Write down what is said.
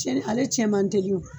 Ale tiɲɛ man teli